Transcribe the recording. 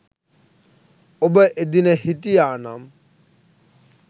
ඔබ එදින හිටියා නම්